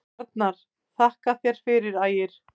Arnar: Þakka þér fyrir Ægir.